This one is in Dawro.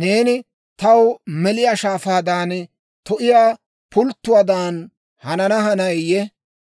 Neeni taw meliyaa shaafaadan, to'iyaa pulttuwaadan, hanana hanayiyee?